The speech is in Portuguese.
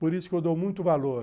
Por isso que eu dou muito valor.